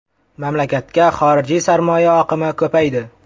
Mamlakatga xorijiy sarmoya oqimi ko‘paydi.